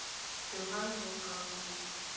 johann wolfgang goethe